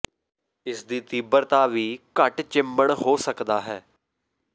ਇਸ ਦੀ ਤੀਬਰਤਾ ਵੀ ਘੱਟ ਚਿੰਬੜ ਹੋ ਸਕਦਾ ਹੈ